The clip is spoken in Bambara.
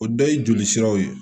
O dɔ ye joli siraw ye